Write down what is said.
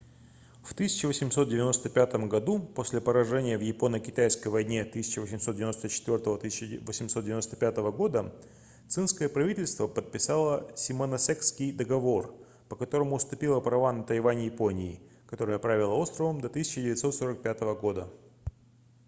в 1895 году после поражения в японо-китайской войне 1894-1895 цинское правительство подписало симоносекский договор по которому уступило права на тайвань японии которая правила островом до 1945 года